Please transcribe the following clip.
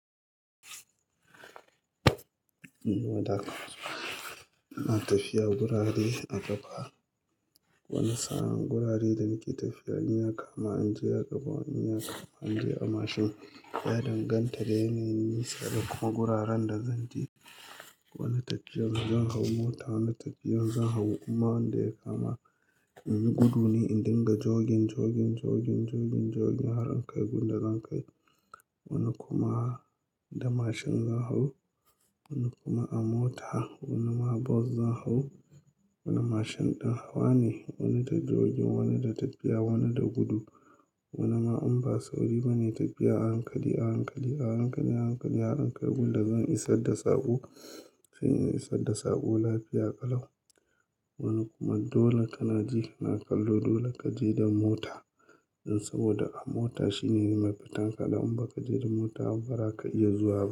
Ina tafiya gurare a ƙafa. Wani sa'an gurare da nake tafiya, in ya kama in ji ya ƙafa, wani in je a mashin. Ya danganta da yanayin nisa da kuma guraren da zan je. Wani tafiyar zan hau mota, wani tafiyar zan hau duk ma yanda ya kama in yi gudu ne in dinga jogin, jogin, jogin, jogin, jogin har in kai gun da zan kai. Wani kuma da mashin zan hau, wani kuma a mota, wani ma bus zan hau. Wani mashin ɗin hawa ne, wani da jogin, wani da tafiya, wani da gudu. Wani ma in ba sauri bane tafiya, a hankali, a hankali, a hankali, a hankali har in kai gun da zan isar da saƙo. Kuma in isar da saƙo lafiya ƙalau. Wani kuma dole kana ji kana kallo dole ka je da mota. In saboda a mota shine mafitan ka da in ba ka je da mota, bazaka iya zuwa ba.